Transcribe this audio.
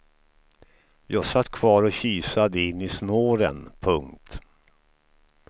Jag satt kvar och kisade in i snåren. punkt